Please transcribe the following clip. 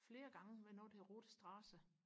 flere gange ved noget der hedder Rote Strasse